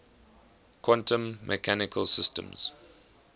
quantum mechanical systems